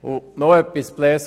Und noch etwas zu Grossrat